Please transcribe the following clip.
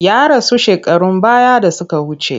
Ya rasu shekarun baya da suka wuce.